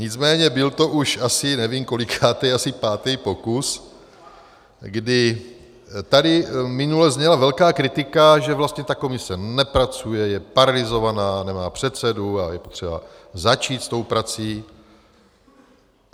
Nicméně byl to už asi, nevím kolikátý, asi pátý pokus, kdy tady minule zněla velká kritika, že vlastně ta komise nepracuje, je paralyzovaná, nemá předsedu a je potřeba začít s tou prací.